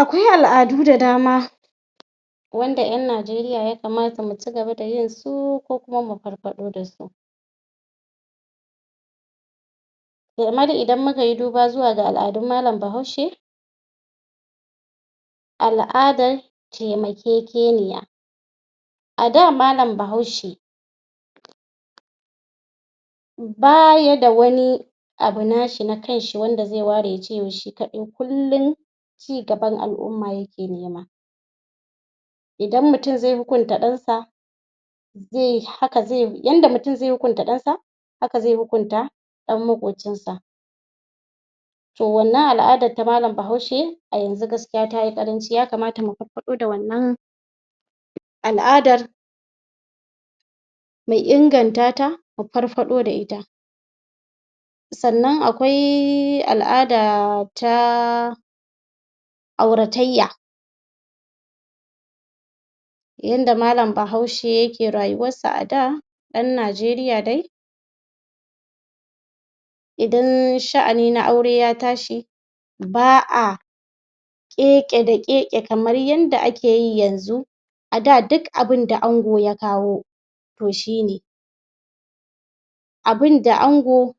Akwai al'adu da dama wanda ƴan Najeriya ya kamata mu ci gaba da yinsu, ko kuma mu farfaɗo da su domin idan muka yi duba zuwa ga al'adun Malam Bahaushe al'adar taimakekeniya. A da malam Bahaushe ba ya da wani abu nashi na kanshi wanda zai ware ya ce yau shi kaɗai kullum ci gaban al'umma yake nema. Idan mutum zai hukunta ɗansa, zai yi haka, yanda mutum zai hukunta ɗansa, haka zai hukunta ɗan maƙocinsa. To wanna al'adar ta malam Bahaushe to yanzu ta yi ƙaranci, ya kamata mu farfaɗo da wannan al'adar mu ingantata, mu farfaɗo da ita. sannan akwai al'ada ta auratayya. Yanda malam Bahaushe yake rayuwarsa a da ɗan Najeriya dai Idan sha'ani na aure ya tashi ba a ƙeƙe da ƙeƙe kamar yadda ake yi yanzu a da duk abinda ango ya kwao, to shi ne. Abunda ango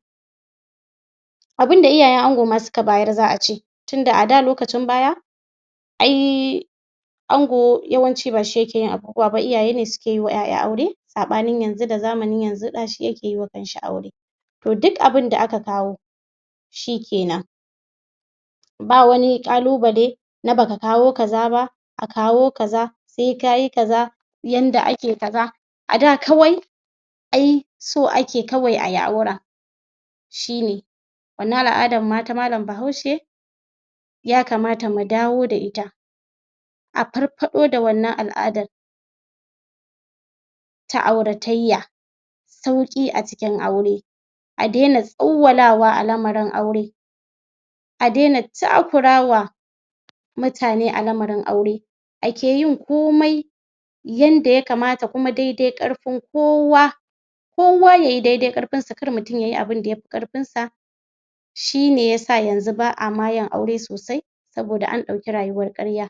abun da iyayen ango ma suka bayar za a ce, tun da a da lokacin baya ai ango yawanci ba shi yake yin abubuwa ba, iyaye ne suke yi wa ƴaƴa aure, saɓanin yanzu da zamanin yanzu ɗa shi yake yi wa kansa aure. To duk abunda aka kawo, shi ke nan. Ba wani ƙalubale na ba ka kawo kaza ba, a kawao kaza sai kayi kaza, yanda ake kaza. A da kawai Ai so ake kawai a yi auren. shi ne. wannan al'adan ma ta malam Bahaushe ya kamata mu dawo da ita. a farfaɗo da wannan al'adar ta auratayya sauƙi a cikin aure. a daina tsawwalawa a lamarin aure. a daina takurwa Mutane a lamarin aure, ake yin komai yanda ya kamata, kuma daidai ƙarfin kowa. kowa ya yi dai-dai ƙarfinsa kar mutum ya yi abunda yafi ƙarfinsa. shi ne ya sa yanzu ba a ma yin aure sosai saboda an ɗauki rayuwar ƙarya.